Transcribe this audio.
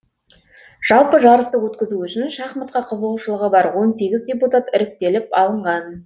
жалпы жарысты өткізу үшін шахматқа қызығушылығы бар он сегіз депутат іріктеліп алынған